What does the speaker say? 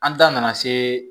An da nana se